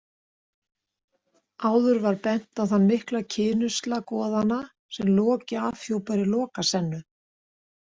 Áður var bent á þann mikla kynusla goðanna sem Loki afhjúpar í Lokasennu.